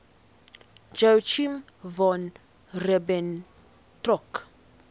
joachim von ribbentrop